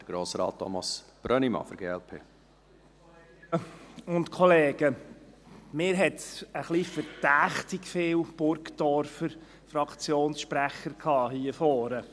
Für mich hat es ein wenig verdächtig viele Burgdorfer Fraktionssprecher gehabt hier vorne.